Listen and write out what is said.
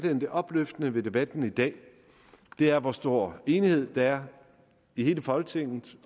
at det opløftende ved debatten i dag er hvor stor enighed der er i hele folketinget